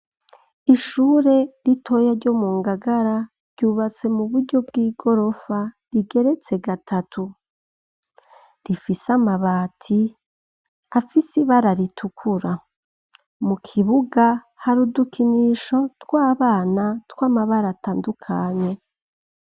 Ishure ritoya ryo mu Ngagara, ryubatse mu buryo bw'igorofa, rigeretse gatatu, rifise amabati afise ibara ritukura, mu kibuga hari udukinisho tw'abana tw'amabara atandukanye.